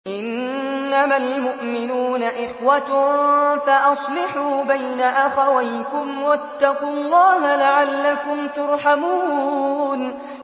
إِنَّمَا الْمُؤْمِنُونَ إِخْوَةٌ فَأَصْلِحُوا بَيْنَ أَخَوَيْكُمْ ۚ وَاتَّقُوا اللَّهَ لَعَلَّكُمْ تُرْحَمُونَ